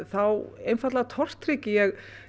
þá einfaldlega tortryggi ég